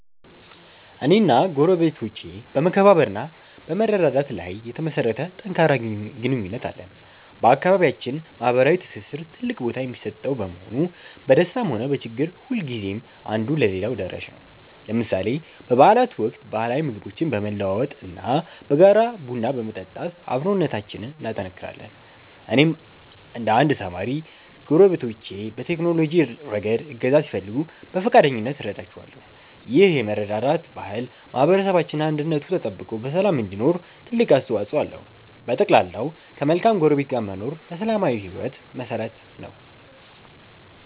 እኔና ጎረቤቶቼ በመከባበር እና በመረዳዳት ላይ የተመሠረተ ጠንካራ ግንኙነት አለን። በአካባቢያችን ማኅበራዊ ትስስር ትልቅ ቦታ የሚሰጠው በመሆኑ፣ በደስታም ሆነ በችግር ጊዜ ሁልጊዜም አንዱ ለሌላው ደራሽ ነው። ለምሳሌ በበዓላት ወቅት ባህላዊ ምግቦችን በመለዋወጥ እና በጋራ ቡና በመጠጣት አብሮነታችንን እናጠናክራለን። እኔም እንደ አንድ ተማሪ፣ ጎረቤቶቼ በቴክኖሎጂ ረገድ እገዛ ሲፈልጉ በፈቃደኝነት እረዳቸዋለሁ። ይህ የመረዳዳት ባህል ማኅበረሰባችን አንድነቱ ተጠብቆ በሰላም እንዲኖር ትልቅ አስተዋፅኦ አለው። በጠቅላላው፣ ከመልካም ጎረቤት ጋር መኖር ለሰላማዊ ሕይወት መሠረት ነው።